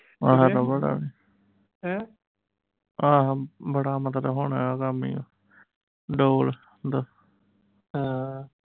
ਆਹ ਤਾਂ ਬਾਹਲਾ ਆਹ ਬੜਾ ਮਤਲਬ ਹੁਣ ਇਹਦਾ ਹੈ ਦਾ